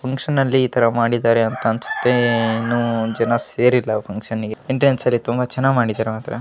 Function ನಲ್ಲಿ ಇತರ ಮಾಡಿದಾರೆ ಅಂತ ಅನ್ನಸುತ್ತೆ ಏನೋ ಜನ ಸೇರಿಲ್ಲಾ ಫಕ್ಷನ್ ಗೆ ಎಂಟ್ರನ್ಸ್ ಎಲ್ಲಾ ಚನ್ನಾಗಿ ಮಾಡಿದಾರೆ ಮಾತ್ರ .